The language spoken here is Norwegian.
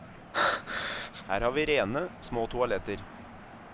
Her har vi rene, små toaletter.